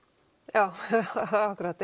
já akkúrat